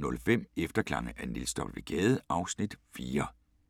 18:05: Efterklange af Niels W. Gade (Afs. 4)